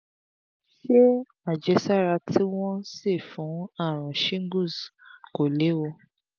ṣé àjẹsára tí wọ́n ń ṣe fún àrùn shingles kò léwu?